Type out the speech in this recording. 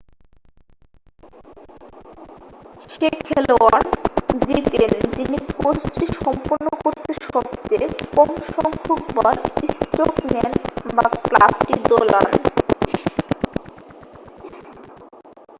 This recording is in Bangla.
সে খেলোয়াড় জিতেন যিনি কোর্সটি সম্পন্ন করতে সবচেয়ে কম সংখ্যকবার স্ট্রোক নেন বা ক্লাবটি দোলান